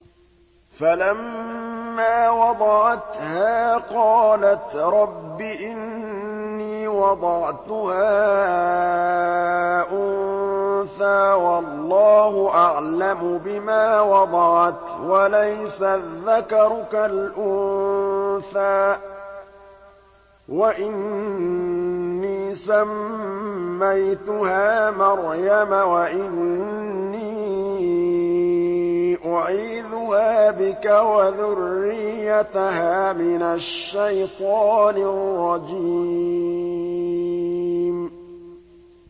فَلَمَّا وَضَعَتْهَا قَالَتْ رَبِّ إِنِّي وَضَعْتُهَا أُنثَىٰ وَاللَّهُ أَعْلَمُ بِمَا وَضَعَتْ وَلَيْسَ الذَّكَرُ كَالْأُنثَىٰ ۖ وَإِنِّي سَمَّيْتُهَا مَرْيَمَ وَإِنِّي أُعِيذُهَا بِكَ وَذُرِّيَّتَهَا مِنَ الشَّيْطَانِ الرَّجِيمِ